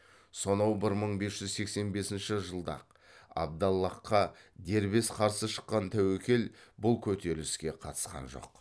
сонау бір мың бес жүз сексен бесінші жылы ақ абдаллахқа дербес қарсы шыққан тәуекел бұл көтеріліске қатысқан жоқ